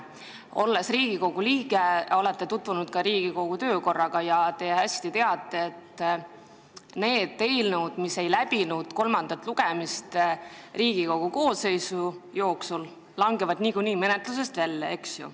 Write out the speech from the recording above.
Olles Riigikogu liige, olete tutvunud ka Riigikogu töökorraga ja teate hästi, et need eelnõud, mis ei läbi kolmandat lugemist Riigikogu ühe koosseisu jooksul, langevad niikuinii menetlusest välja.